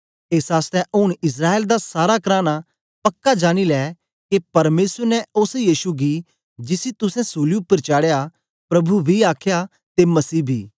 एस आसतै ऊन इस्राएल दा सारा कराना पक्का जानी लै के परमेसर ने ओस यीशु गी जिसी तुसें सूली उपर चढ़ाया प्रभु बी आखया ते मसीह बी